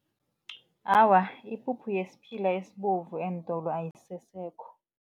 Awa, ipuphu yesiphila esibovu eentolo ayisesekho.